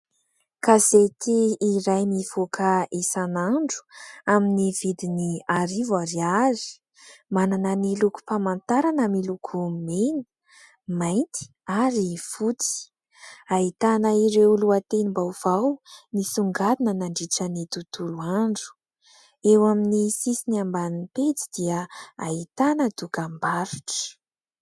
Gazety iray mivoaka isanandro amin'ny vidiny arivo ariary, manana ny lokom-pamantarana miloko mena, mainty ary fotsy. Ahitana ireo lohatenim-baovao misongadina nandritra ny tontolo andro. Eo amin'ny sisiny ambanin'ny pejy dia ahitana dokam-barotra.